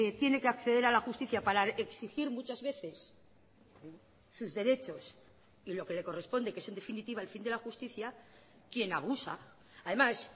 tiene que acceder a la justicia para exigir muchas veces sus derechos y lo que le corresponde que es en definitiva el fin de la justicia quien abusa además